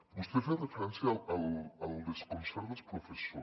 vostè ha fet referència al desconcert dels professors